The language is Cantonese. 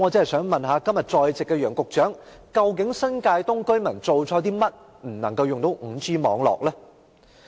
我想問今天在席的楊局長，究竟新界東居民做錯了甚麼，為何不能使用 5G 網絡呢？